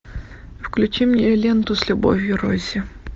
включи мне ленту с любовью рози